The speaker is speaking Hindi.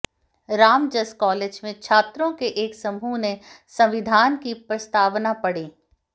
रामजस कॉलेज में छात्रों के एक समूह ने संविधान की प्रस्तावना पढ़ी